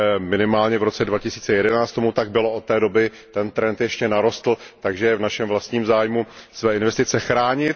Minimálně v roce 2011 tomu tak bylo, od té doby ten trend ještě narostl, takže je v našem vlastním zájmu své investice chránit.